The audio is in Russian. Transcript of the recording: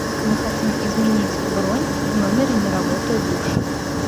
мы хотим изменить бронь в номере не работает душ